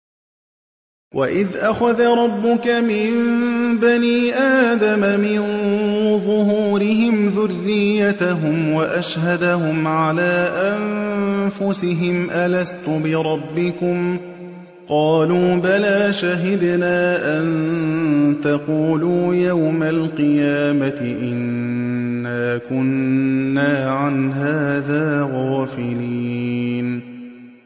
وَإِذْ أَخَذَ رَبُّكَ مِن بَنِي آدَمَ مِن ظُهُورِهِمْ ذُرِّيَّتَهُمْ وَأَشْهَدَهُمْ عَلَىٰ أَنفُسِهِمْ أَلَسْتُ بِرَبِّكُمْ ۖ قَالُوا بَلَىٰ ۛ شَهِدْنَا ۛ أَن تَقُولُوا يَوْمَ الْقِيَامَةِ إِنَّا كُنَّا عَنْ هَٰذَا غَافِلِينَ